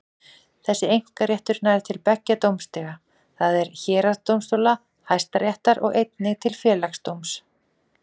Þessi einkaréttur nær til beggja dómstiga, það er héraðsdómstóla og Hæstaréttar, og einnig til Félagsdóms.